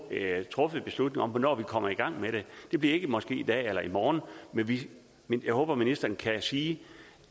truffet en beslutning om hvornår vi kommer i gang med det det bliver måske ikke i dag eller i morgen men jeg håber ministeren kan sige